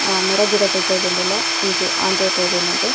ಅ ಮರಗಿಡಕುಲು ತೋಜೊಂದುಲ್ಲ ಒಂಜಿ ಆಂಜೋವ್ ತೋಜೊಂದುಂಡು.